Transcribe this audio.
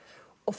og